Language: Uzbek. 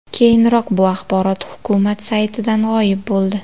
Keyinroq bu axborot hukumat saytidan g‘oyib bo‘ldi.